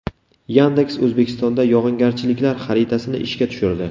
Yandex O‘zbekistonda yog‘ingarchiliklar xaritasini ishga tushirdi.